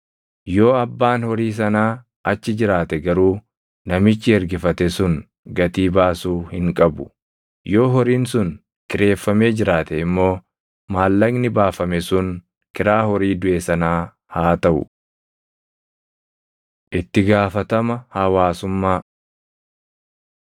Yoo abbaan horii sanaa achi jiraate garuu namichi ergifate sun gatii baasuu hin qabu. Yoo horiin sun kireeffamee jiraate immoo maallaqni baafame sun kiraa horii duʼe sanaa haa taʼu. Itti Gaafatama Hawaasummaa